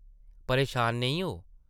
परेशान नेईं हो ।